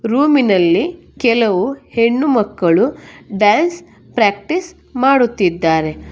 ರೂಮಿನಲ್ಲಿ ಕೆಲವು ಹೆಣ್ಣುಮಕ್ಕಳು ಡಾನ್ಸ್ ಪ್ರಾಕ್ಟೀಸ್ ಮಾಡುತ್ತಿದ್ದಾರೆ.